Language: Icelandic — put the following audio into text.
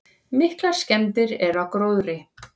Miklar skemmdir eru á gróðri.